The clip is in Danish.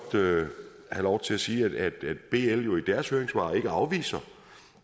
have lov til at sige at bl jo i deres høringssvar ikke afviser